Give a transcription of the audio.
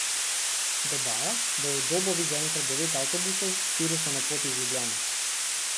Dodaja, da je v Dobovi zaenkrat devet avtobusov, štirje so na poti iz Ljubljane.